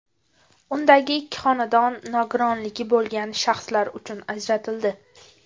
Undagi ikki xonadon nogironligi bo‘lgan shaxslar uchun ajratildi.